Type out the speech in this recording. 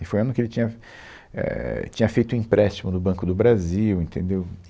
E foi o ano que ele tinha, éh, tinha feito o empréstimo do Banco do Brasil, entendeu?